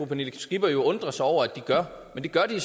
pernille skipper jo undre sig over at de gør men det gør de